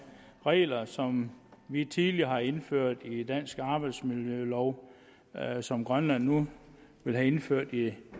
regler som vi tidligere har indført i den danske arbejdsmiljølov og som grønland nu vil have indført i